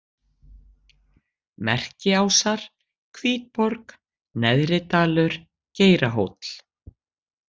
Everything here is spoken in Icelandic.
Merkiásar, Hvítborg, Neðridalur, Geirahóll